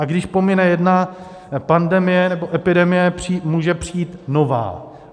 A když pomine jedna pandemie nebo epidemie, může přijít nová.